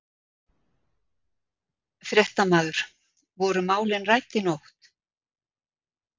Fréttamaður: Voru málin rædd í nótt?